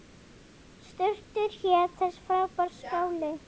Surtur hét þessi frábæri skáli.